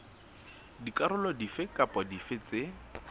dikarolo dife kapa dife tse